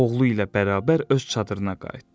Oğlu ilə bərabər öz çadırına qayıtdı.